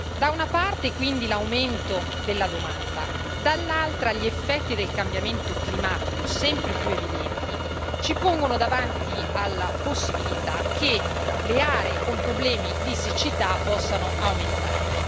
Da una parte, quindi, l'aumento della domanda, dall'altra gli effetti del cambiamento climatico, sempre più evidenti, ci pongono davanti alla possibilità che le aree con problemi di siccità possano aumentare.